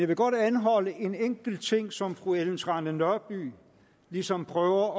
vil godt anholde en enkelt ting som fru ellen trane nørby ligesom prøver